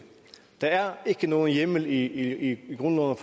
der er ikke nogen hjemmel i grundloven